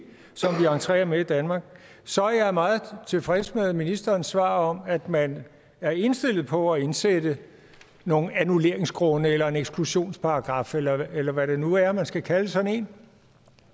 entrerer med i danmark så er jeg meget tilfreds med ministerens svar om at man er indstillet på at indsætte nogle annulleringsgrunde eller en eksklusionsparagraf eller eller hvad det nu er man skal kalde sådan en